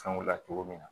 Fɛnw la cogo min na